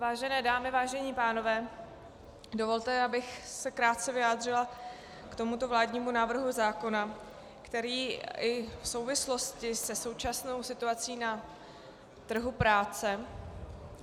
Vážené dámy, vážení pánové, dovolte, abych se krátce vyjádřila k tomuto vládnímu návrhu zákona, který i v souvislosti se současnou situací na trhu práce...